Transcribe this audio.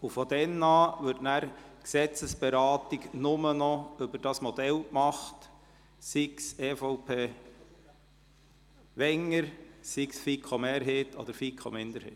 Ab dann wird das Gesetz nur noch bezüglich dieses Modells beraten, sei es EVP/Wenger, sei es FiKo-Mehrheit oder FiKo-Minderheit.